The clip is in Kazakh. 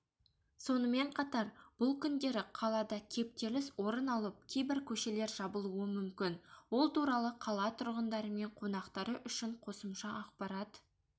сонымен қатар бұл күндері қалада кептеліс орын алып кейбір көшелер жабылуы мүмкін ол туралы қала тұрғындары мен қонақтары үшін қосымша ақпарат